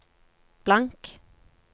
blank